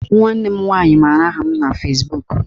Nwanne m nwaanyị maara aha m na Fezbuk